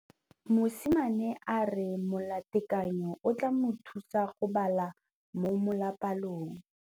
Mosimane a re molatekanyô o tla mo thusa go bala mo molapalong.